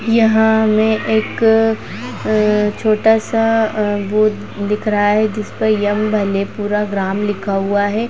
यहाँ में एक अ छोटा सा बोर्ड दिख रहा है जिस पर पूरा ग्राम लिखा हुआ है।